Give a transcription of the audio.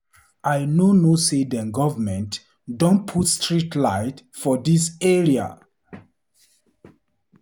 I no know say dem govement don put street light for dis area.